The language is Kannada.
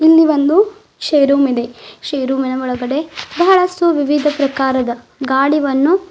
ಇಲ್ಲಿ ಒಂದು ಷ್ಕೆ ರೂಮ್ ಇದೆ ಷ್ಕ್ ರೂಮಿನ ಒಳಗಡೆ ಬಹಳಷ್ಟು ವಿವಿಧ ಪ್ರಕಾರದ ಗಾಡಿವನ್ನು--